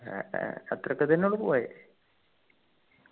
ഏർ ഏർ അത്രയൊക്കെ തന്നെ ഉള്ളു പോയെ